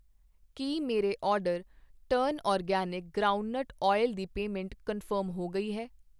ਕੀ ਮੇਰੇ order turn organic groundnut oil ਦੀ payment confirm ਹੋ ਗਈ ਹੈ?